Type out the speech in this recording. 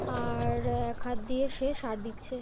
আর-র এক হাত দিয়ে সে সার দিচ্ছে।